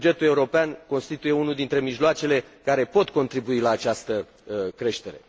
Bugetul european constituie unul dintre mijloacele care pot contribui la această creștere.